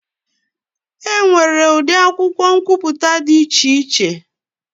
E nwere ụdị akwụkwọ nkwuputa dị iche iche.